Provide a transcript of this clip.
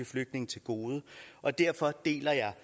flygtninge til gode og derfor deler jeg